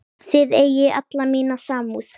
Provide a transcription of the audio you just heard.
Þið eigið alla mína samúð.